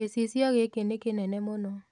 Gĩcicio gĩkĩ nĩ kĩnene mũno